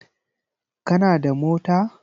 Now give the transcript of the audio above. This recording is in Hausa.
Kana da mota?